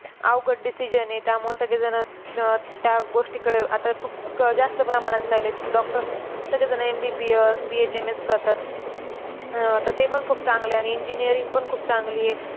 अवघड decision आहे. त्यामुळे सगळीजण त्या गोष्टीकडे आता खूप जास्त प्रमाणात चालली आहेत, की doctor MBBS, BHMS करतात. अह तर ते पण खूप चांगले आहे आणि engineering पण खूप चांगली आहे.